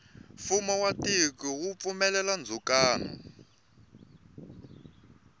fumo wa tiko wu pfumelela ndzukano